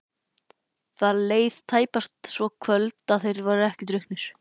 Það leið tæpast svo kvöld að þeir væru ekki drukknir.